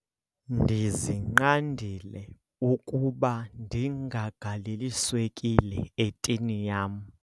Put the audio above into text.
Ndizinqandile ukuba ndingagaleli swekile etini yam.